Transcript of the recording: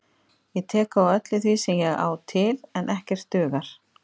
Ég tek á öllu því sem ég á til, en ekkert dugar.